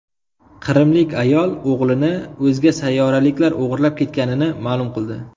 Qrimlik ayol o‘g‘lini o‘zga sayyoraliklar o‘g‘irlab ketganini ma’lum qildi.